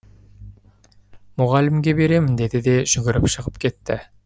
мұғалімге беремін деді де жүгіріп шығып кетті